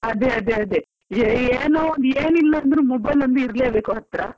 ಅದೇ ಅದೇ ಅದೇ ಏನಿಲ್ಲಾಂದ್ರೂ mobile ಒಂದು ಇರ್ಲೇಬೇಕು ಹತ್ರ.